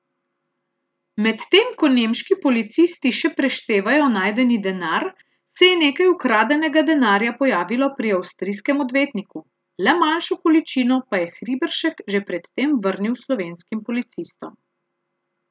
Medtem ko nemški policisti še preštevajo najdeni denar, se je nekaj ukradenega denarja pojavilo pri avstrijskem odvetniku, le manjšo količino pa je Hriberšek že pred tem vrnil slovenskim policistom.